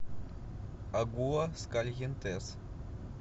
агуаскальентес